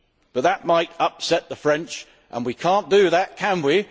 But that might upset the French, and we cannot do that, can we?